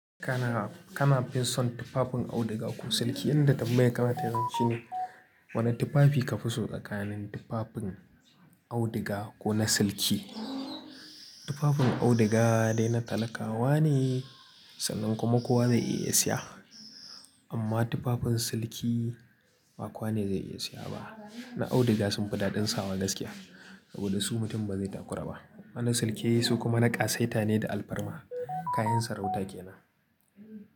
Kana, kana finson tufafin auduga ko silki? Inda tambayar ka za ta hau shine. Wane tufafi ka fi so tsakanin tufafin auduga ko na silki? Tufafin auduga dai na talakawa ne, sannan kuma kowa zai iya siya. Amma tufafin silki ba kowane zai iya siya ba. Na auduga sun fi daɗin sawa gaskiya saboda su mutum ba zai takura ba. Wannan silki su kuma na ƙasaita ne da alfarma. Kayan sarauta ke nan.